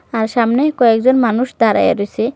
আর সামনেই কয়েকজন মানুষ দাঁড়াইয়া রসে-এ।